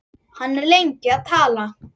Hann er lengi að tala.